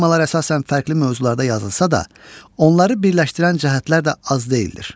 Poemalar əsasən fərqli mövzularda yazılsa da, onları birləşdirən cəhətlər də az deyildir.